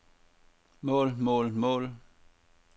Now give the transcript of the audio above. mål mål mål